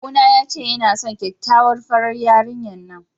Kawuna ya ce yana son kyakkyawar farar yarinyar nan.